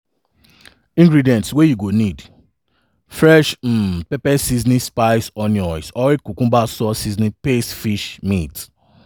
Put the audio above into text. ingredients wey you go need: fresh um pepper seasonings/spice onions oil cucumber salt seasoning paste fish/meat.